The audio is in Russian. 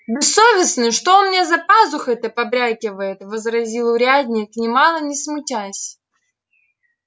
бессовестный что у меня за пазухой-то побрякивает возразил урядник нимало не смутясь